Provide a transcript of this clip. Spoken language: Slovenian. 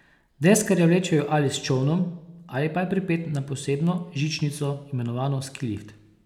Deskarja vlečejo ali s čolnom ali pa je pripet na posebno žičnico, imenovano ski lift.